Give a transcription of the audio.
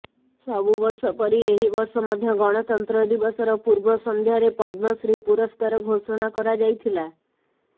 ସବୁବର୍ଷ ପରି ଏହି ବର୍ଷ ମଧ୍ୟ ଗଣତନ୍ତ୍ର ଦିବସର ପୂର୍ବ ସଂଧ୍ୟାରେ ପଦ୍ମଶ୍ରୀ ପୁରସ୍କାର ଘୋଷଣା କରାଯାଇଥିଲା